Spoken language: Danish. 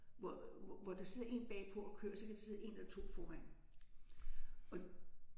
Hvor hvor der sidder en bagpå og kør så kan der sidde 1 eller 2 foran og